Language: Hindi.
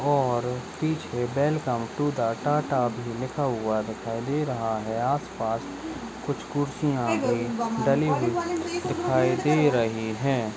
और पिछे वेलकम टू द टाटा भी लिखा हुआ दिखाई दे रहा है। आसपास कुछ खुरसिया भी डली हुई दिखाई दे रही है।